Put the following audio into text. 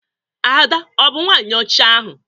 Ada ọ bụ nwaanyị ọcha ahu?